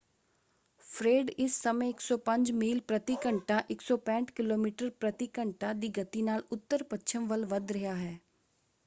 ਫ੍ਰੇਡ ਇਸ ਸਮੇਂ 105 ਮੀਲ ਪ੍ਰਤੀ ਘੰਟਾ 165 ਕਿਮੀ ਪ੍ਰਤੀ ਘੰਟਾ ਦੀ ਗਤੀ ਨਾਲ ਉੱਤਰ-ਪੱਛਮ ਵੱਲ ਵੱਧ ਰਿਹਾ ਹੈ।